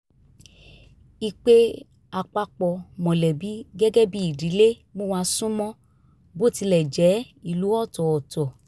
ìpè àpapọ̀ mọ̀lẹ́bí gẹ́gẹ́ bí ìdílé mú wa sún mọ́ bó tilẹ̀ jẹ́ ìlú ọ̀tọ̀ọ̀tọ̀